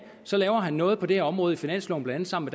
så laver han noget på det her område i finansloven sammen